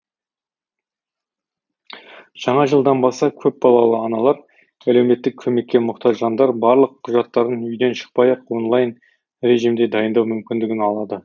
жаңа жылдан бастап көпбалалы аналар әлеуметтік көмекке мұқтаж жандар барлық құжаттарын үйден шықпай ақ онлайн режимде дайындау мүмкіндігін алады